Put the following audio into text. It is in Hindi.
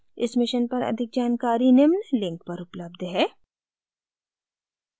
इस mission पर अधिक जानकारी निम्न लिंक पर उपलब्ध है